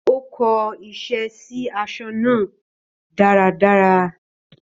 Ó kó iṣẹ́ sí aṣọ náà dáradára